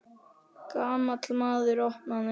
Gamall maður opnaði.